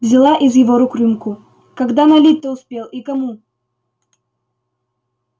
взяла из его рук рюмку когда налить-то успел и кому